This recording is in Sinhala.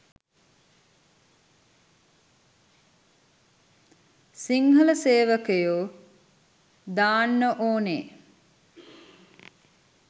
සිංහල සේවකයෝ දාන්න ඕනේ.